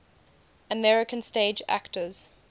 american stage actors